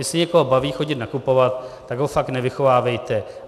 Jestli někoho baví chodit nakupovat, tak ho fakt nevychovávejte.